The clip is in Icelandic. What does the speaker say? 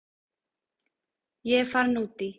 Ég er farin út í.